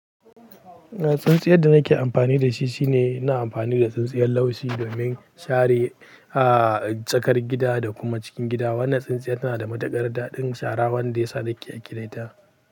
Eh, tsintsiyar da nake amfani da shi shine ina amfani da tsintsiyar laushi domin share, ah, tsakar gida da kuma cikin gida. Wannan tsintsiyar tana da mataƙar daɗin shara wanda ya sa nake aƙiraita.